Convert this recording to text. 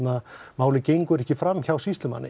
málið gengur ekki fram hjá sýslumanni